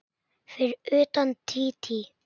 Fyrir utan Dídí.